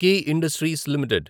key industries limited